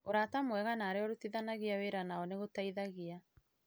Ũrata mwega na arĩa ũrutithanagia wĩra nao nĩ gũteithagia